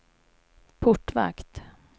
portvakt